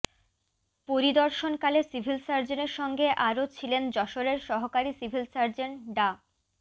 পরিদর্শনকালে civil সার্জনের সঙ্গে আরও ছিলেন যশোরের সহকারী সিভিল সার্জন ডা